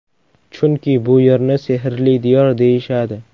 Chunki bu yerni sehrli diyor deyishadi.